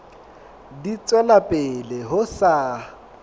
di tswela pele ho sa